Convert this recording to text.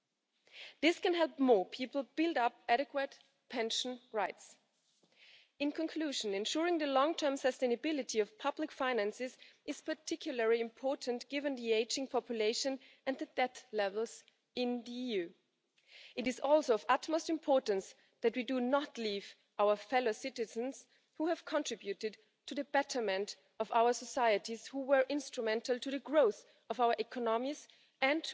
Something needs to be addressed because we cannot have poverty involved in the pension system. This is even more acute if we have in mind the future of younger generations because, for the sake of fairness, we need to make sure that young generations have the same chances to count on an